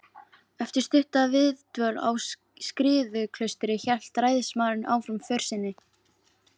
Eftir stutta viðdvöl á Skriðuklaustri hélt ræðismaðurinn áfram för sinni.